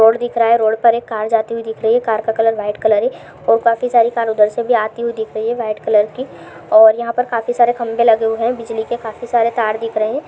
road दिख रहा है रोड पर एक कार जाती हुई दिख रही है कार का कलर वाइट कलर ए और काफी सारी कार उधर से भी आती हुई दिख रही है वाइट कलर की और यहाँ पर काफी सारे खम्बे लगे हुए है बिजली के काफी सारे तार दिख रहे --